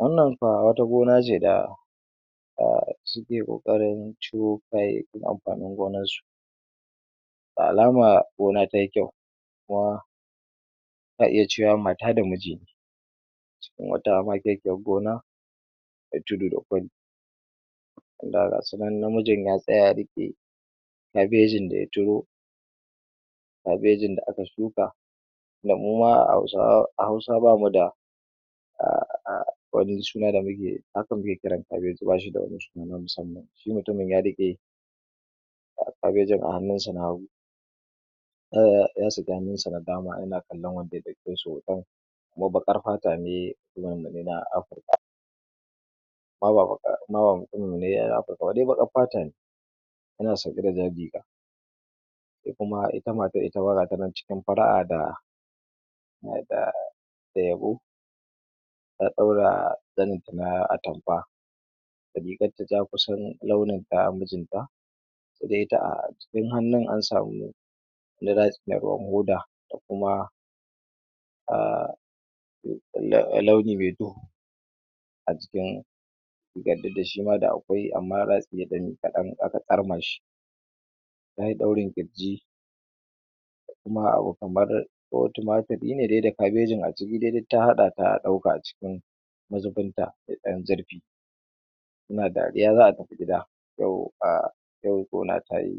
wannan fa wata gona ce da um suke ƙoarin ciro kayayyakin amfanin gonar su da alama gona tay kyau kuma ka iya cewa mata da miji ne cikin wata makekiyar gona me tudu da kwari wanda gasu nan namijin ya tsaya ya riƙe kabejin daya ciro cagejin da aka shuka tinda muma hausawa a hausa bamu da um wani suna da ake kiran cabeji bashi da wani suna na musamman shi mutumin ya riƙe cabejin a hannunsa an hagu ya saki hannun sa na dama yana kallon wanda kuma baƙar fata ne na nan afrika um amma ba mutumin mu ne na afrika dai baƙar fata ne yana sanye da jar riga se kuma ita matar ita ma gata nan cikin fara'a da um da yabo ta ɗaura zanin ta na atamfa da rigar ta ja kusan launin ta mijin ta se dai ita a jikin hannun an samu wani ratsi na ruwan hoda da kuma um launi me duhu a jikin dikda shima da akwai amma ratsine ɗan kaɗan aka tsarma shi tayi daurin ƙirji kuma abu kama ko tumaturi ne dai da cabejin a ciki dai duk ta haɗa ɗauka a cikin mazubin ta me ɗan zurfi na dariya za'a tafi gida um yau gona tayi